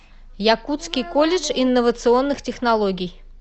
якутский колледж инновационных технологий